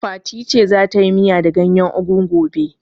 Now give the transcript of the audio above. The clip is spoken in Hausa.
Fati ta ce za ta yi miya da gayen ugu gobe